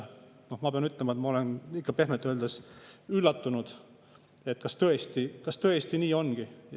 Noh, ma pean ütlema, et ma olen ikka pehmelt öeldes üllatunud, et kas tõesti nii ongi.